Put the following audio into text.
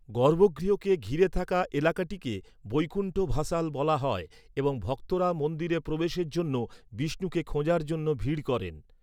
গর্ভগৃহকে ঘিরে থাকা এলাকাটিকে বৈকুণ্ঠ ভাসাল বলা হয় এবং ভক্তরা মন্দিরে প্রবেশের জন্য, বিষ্ণুকে খোঁজার জন্য ভিড় করেন